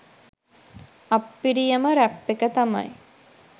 අප්පිරියම rap එක තමයි